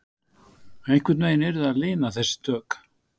Einhvern veginn yrði að lina þessi tök